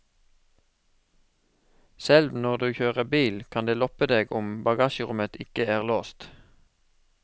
Selv når du kjører bil kan de loppe deg om bagasjerommet ikke er låst.